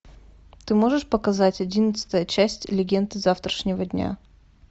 ты можешь показать одиннадцатая часть легенды завтрашнего дня